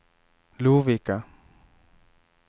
Lovikka